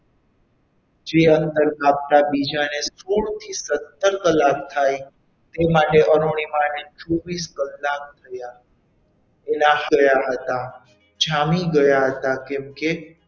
જે અંતર કાપતાં બીજાને સોળ થી સત્તર કલાક થાય તે માટે અરુણિમા ને ચોવીસ કલાક થયા એટલા થયા હતા. જામી ગયા હતા. કેમકે,